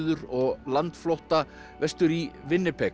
og landflótta vestur í